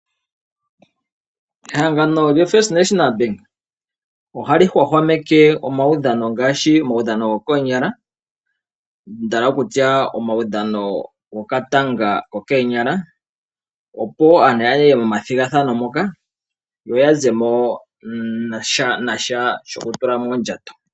Ehangano lyo first national bank ohali hwahwameke omawudhano ngaashi omawudhano gokoonyala ano omawudhano go katanga kokoonyala opo aantu yaye momathigathano moka yoya zemo nasha shoku tula moondjato.